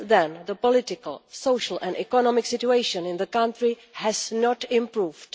Since then the political, social and economic situation in the country has not improved.